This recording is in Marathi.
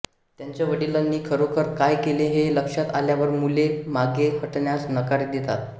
त्यांच्या वडिलांनी खरोखर काय केले हे लक्षात आल्यावर मुले मागे हटण्यास नकार देतात